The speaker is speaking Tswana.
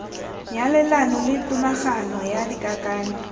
nyalelano le tomagano ya dikakanyo